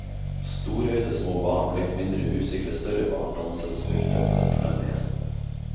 Storøyde små barn og litt mindre usikre større barn danset og spilte for den fornemme gjesten.